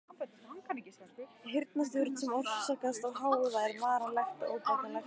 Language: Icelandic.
Heyrnartjón sem orsakast af hávaða er varanlegt og óbætanlegt.